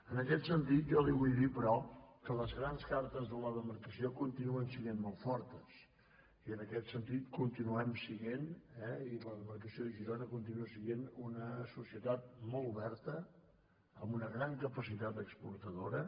en aquest sentit jo li vull dir però que les grans car·tes de la demarcació continuen sent molt fortes i en aquest sentit continuem sent eh i la demarcació de girona continua sent una societat molt oberta amb una gran capacitat exportadora